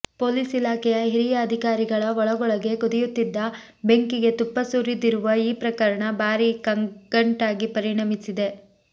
police ಇಲಾಖೆಯ ಹಿರಿಯ ಅಧಿಕಾರಿಗಳ ಒಳಗೊಳಗೇ ಕುದಿಯುತ್ತಿದ್ದ ಬೆಂಕಿಗೆ ತುಪ್ಪ ಸುರಿದಿರುವ ಈ ಪ್ರಕರಣ ಭಾರೀ ಕಗ್ಗಂಟಾಗಿ ಪರಿಣಮಿಸಿದೆ